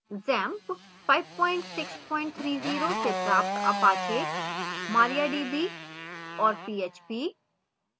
xampp 5630 से प्राप्त apache mariadb और php